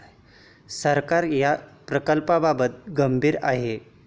सरकार या प्रकल्पाबाबत गंभीर आहे.